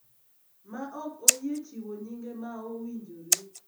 ma ok oyie chiwo nyinge ma owinjore.